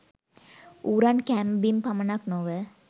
ඌරන් කෑම බීම පමණක් නොව